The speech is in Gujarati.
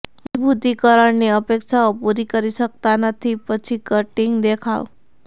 મજબૂતીકરણની અપેક્ષાઓ પૂરી કરી શકતા નથી પછી કોટિંગ દેખાવ